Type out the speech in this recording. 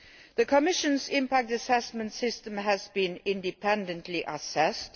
The Commission's impact assessment system has been independently assessed.